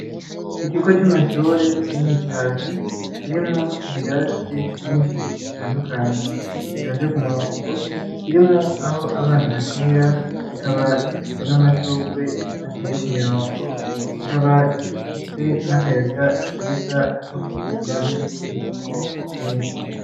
Ikigo c'amashuri kinini cane kirimwo ibirasi vyinshi bitandukanye, bitonze ku murongo, birimwo aho abana bakinira, kikaba gifise n'amashurwe ateye ku kirongo, kikaba gifise n'akayaga keza kuko gikikijwe n'ibiti vyinshi.